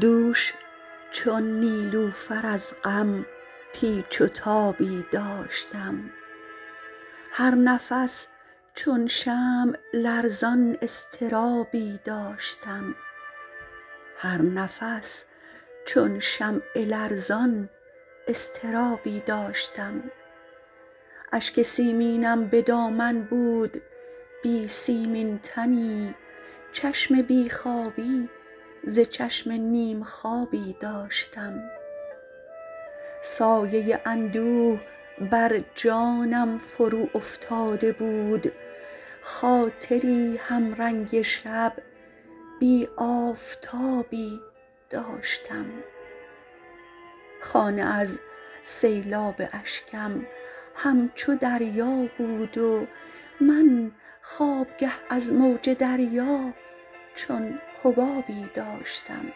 دوش چون نیلوفر از غم پیچ و تابی داشتم هر نفس چون شمع لرزان اضطرابی داشتم اشک سیمینم به دامن بود بی سیمین تنی چشم بی خوابی ز چشم نیم خوابی داشتم سایه اندوه بر جانم فرو افتاده بود خاطری هم رنگ شب بی آفتابی داشتم خانه از سیلاب اشکم همچو دریا بود و من خوابگه از موج دریا چون حبابی داشتم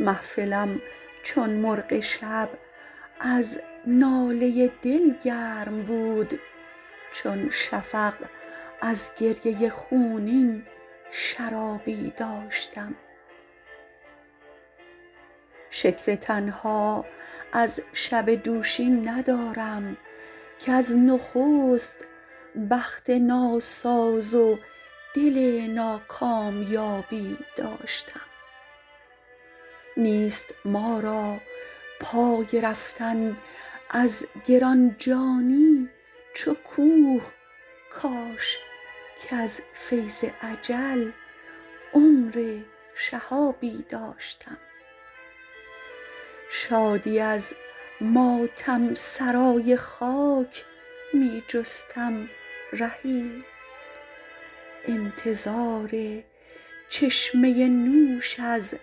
محفلم چون مرغ شب از ناله دل گرم بود چون شفق از گریه خونین شرابی داشتم شکوه تنها از شب دوشین ندارم کز نخست بخت ناساز و دل ناکامیابی داشتم نیست ما را پای رفتن از گران جانی چو کوه کاش کز فیض اجل عمر شهابی داشتم شادی از ماتم سرای خاک می جستم رهی انتظار چشمه نوش از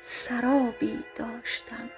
سرابی داشتم